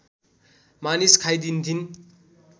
मानिस खाइदिन्थिन्